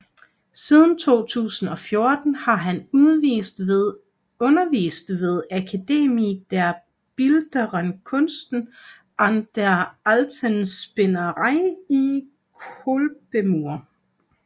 Siden 2014 har han undervist ved Akademie der Bildenden Künste an der Alten Spinnerei i Kolbermoor